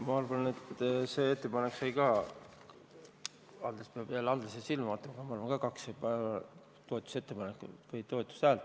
Ma arvan, et see ettepanek sai samuti kaks toetushäält.